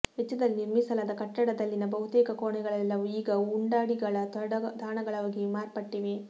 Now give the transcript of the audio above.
ವೆಚ್ಚದಲ್ಲಿ ನಿರ್ಮಿಸಲಾದ ಕಟ್ಟಡದಲ್ಲಿನ ಬಹುತೇಕ ಕೋಣೆಗಳೆಲ್ಲವೂ ಈಗ ಉಂಡಾಡಿಗಳ ತಾಣಗಳಾಗಿ ಮಾರ್ಪಟ್ಟಿವೆ